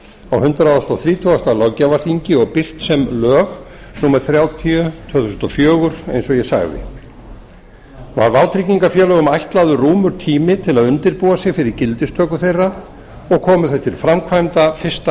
á hundrað þrítugasta löggjafarþingi og birt sem lög númer tvö þúsund og fjögur eins og ég sagði var vátryggingarfélögum ætlaður rúmur tími til að undirbúa sig fyrir gildistöku þeirra og komu þau til framkvæmda fyrsta